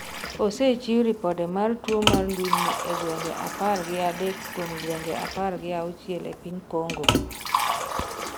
osechiw ripode mar tuo mar ndulme e gwenge apar gi adek kuom gwenge apar gi auchiel e piny Kongo